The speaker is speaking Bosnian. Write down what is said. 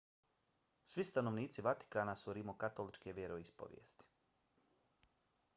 svi stanovnici vatikana su rimokatoličke vjeroispovesti